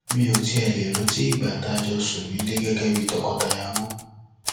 mi ò tiẹ lè rántí ìgbà tá a jọ sùn nílẹ gẹgẹ bíi tọkọtaya mọ